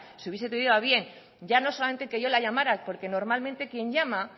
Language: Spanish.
si hubiese tenido a bien ya no solamente que yo la llamara porque normalmente quien llama